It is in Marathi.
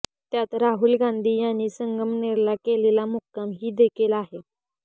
त्यात राहुल गांधी यांनी संगमनेरला केलेला मुक्काम ही देखील आ